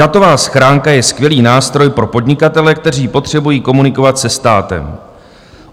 Datová schránka je skvělý nástroj pro podnikatele, kteří potřebují komunikovat se státem.